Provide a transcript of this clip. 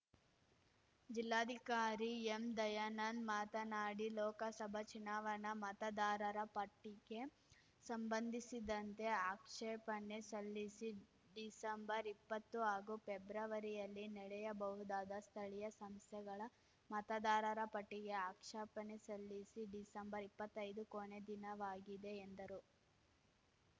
ಜಿಲ್ಲಾಧಿಕಾರಿ ಎಂದಯಾನಂದ್‌ ಮಾತನಾಡಿ ಲೋಕಸಭ ಚುನಾವಣ ಮತದಾರರ ಪಟ್ಟಿಗೆ ಸಂಬಂಧಿಸಿದಂತೆ ಆಕ್ಷೇಪಣೆ ಸಲ್ಲಿಸಿ ಡಿಸಂಬರ್ಇಪ್ಪತ್ತು ಹಾಗೂ ಫೆಬ್ರವರಿಯಲ್ಲಿ ನಡೆಯಬಹುದಾದ ಸ್ಥಳೀಯ ಸಂಸ್ಥೆಗಳ ಮತದಾರರ ಪಟ್ಟಿಗೆ ಆಕ್ಷೇಪಣೆ ಸಲ್ಲಿಸಿ ಡಿಸಂಬರ್ಇಪ್ಪತ್ತೈದು ಕೊನೆ ದಿನವಾಗಿದೆ ಎಂದರು